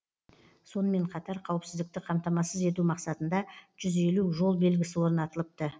сонымен қатар қауіпсіздікті қамтамасыз ету мақсатында жүз елу жол белгісі орнатылыпты